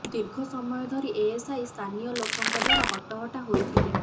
ଦୀର୍ଘ ସମୟ ଧରି ଏଏସଆଇ ସ୍ଥାନୀୟ ଲୋକଙ୍କ ଦ୍ୱାରା ହଟହଟା ହୋଇଥିଲେ